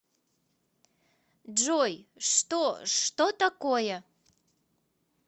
джой что что такое